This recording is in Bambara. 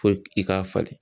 Fo i k'a falen.